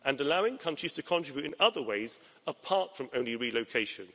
and allowing countries to contribute in other ways apart from only relocation.